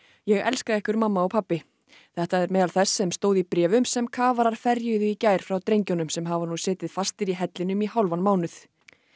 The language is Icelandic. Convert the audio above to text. ég elska ykkur mamma og pabbi þetta er meðal þess sem stóð í bréfum sem kafarar ferjuðu í gær frá drengjunum sem hafa nú setið fastir í hellinum í hálfan mánuð